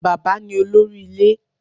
Bàbá ni olórí ilé